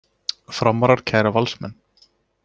Framarar kæra Valsmenn